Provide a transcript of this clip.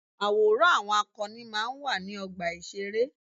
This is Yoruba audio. Àwòrán àwọn akọni máa ń wà ní ọgbà ìṣeré.